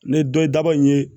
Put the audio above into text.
Ne dɔ ye daba in ye